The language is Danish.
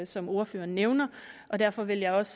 som ordføreren nævner og derfor vil jeg også